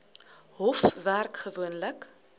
hof werk gewoonlik